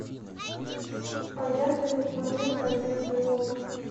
поехали планета одежда и обувь